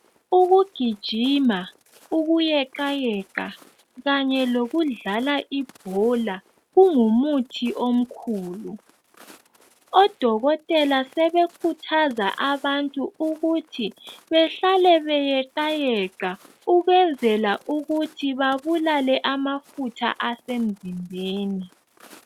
Ukugijima, ukuyeqayeqa kanye lokudlala ibhola, kungumuthi omkhulu. Odokotela sebekhuthaza abantu ukuthi behlale beyeqayeqa, ukwenzela ukuthi bebulale amafutha asemzimbeni.